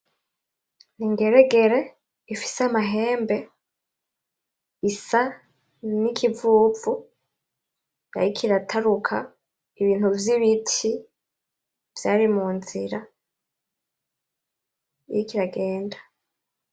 Ingeregere ifise Amahembe, isa nikivuvu yariko irataruka Ibintu vy'Ibiti vyari munzira iriko iragenda.